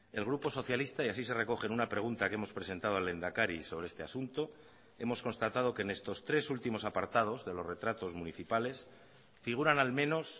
el grupo socialista y así se recoge en una pregunta que hemos presentado al lehendakari sobre este asunto hemos constatado que en estos tres últimos apartados de los retratos municipales figuran al menos